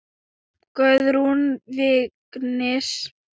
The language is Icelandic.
Guðrún Vignis.